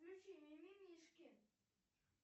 включи мимимишки